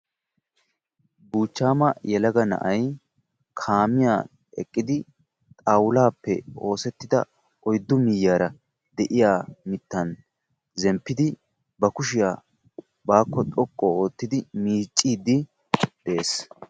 buuchama yelaga na"ay kaamiya ogiyani eqidi xawulappe oosettida miishani eqidi ba kushiyaa xoqu ootidi miicidi dessi.